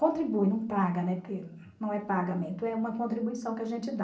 Contribui, não paga, né, porque não é pagamento, é uma contribuição que a gente dá.